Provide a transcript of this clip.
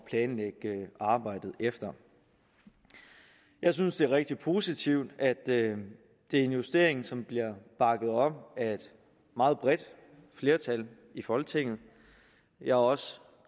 planlægge arbejdet efter jeg synes det er rigtig positivt at det er en justering som bliver bakket op af et meget bredt flertal i folketinget jeg er også